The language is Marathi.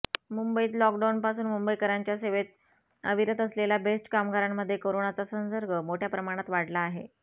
मुंबईत लॉकडाउनपासून मुंबईकरांच्या सेवेत अविरत असलेल्या बेस्ट कामगारांमध्ये करोनाचा संसर्ग मोठ्या प्रमाणात वाढला आहे